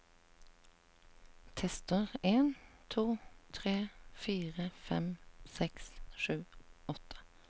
Tester en to tre fire fem seks sju åtte